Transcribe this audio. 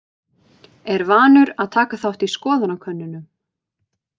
Er vanur að taka þátt í skoðanakönnunum.